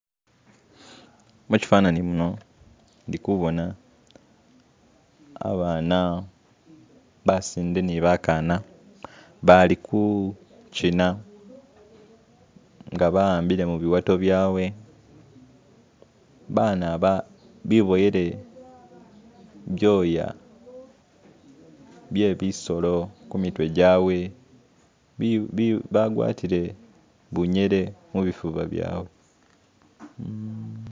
Mukyifanaanyi muno indikoboona abaana basinde ni bakaana baali kushina ngabawambire mubiwaato byawe, baana ba biboyeere byoya bye bisoro ku mitwe gyawe, bagwatile binyere ku bifuba byawe